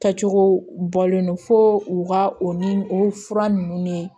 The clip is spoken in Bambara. Kɛcogo bɔlen don fo u ka o ni o fura ninnu ne